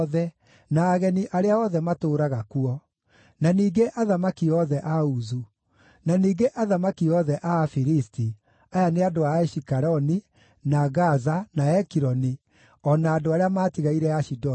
na ageni arĩa othe matũũraga kuo; na ningĩ athamaki othe a Uzu; na ningĩ athamaki othe a Afilisti (aya nĩ andũ a Ashikeloni, na Gaza, na Ekironi, o na andũ arĩa maatigaire Ashidodi);